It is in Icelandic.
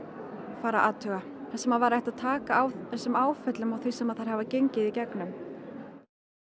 fara að athuga þar sem væri hægt að taka á þessum áföllum og því sem þær hafa gengið í gegnum